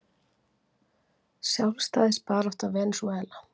Sjálfstæðisbarátta Venesúela.